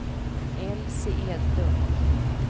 Elsie Edlund